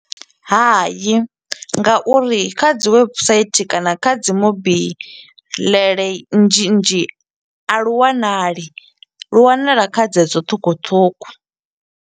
Hayi, ngauri kha dzi webusaithi kana kha dzi mobiḽele nnzhi nnzhi, a lu wanali. Lu wanala kha dze dzo ṱhukhuṱhukhu.